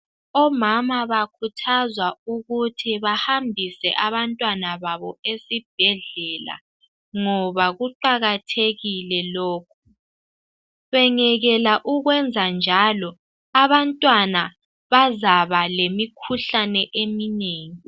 Omama bakhuthazwa ukuthi bahambise abantwana babo esibhedlela ngoba kuqathekile lokhu , bengekela ukwenza njalo abantwana bazaba lemikhuhlane eminengi